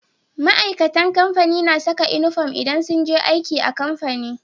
Ma'aikatan kamfani na Saka inufom idan sunje aiki a kamfani